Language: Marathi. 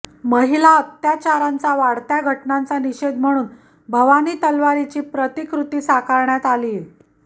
महिला अत्याचारांच्या वाढत्या घटनांचा निषेध म्हणून भवानी तलवारीची प्रतिकृती साकारण्यात आलीये